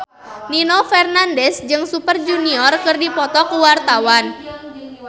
Nino Fernandez jeung Super Junior keur dipoto ku wartawan